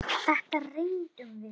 BÓNDI: Þetta reyndum við!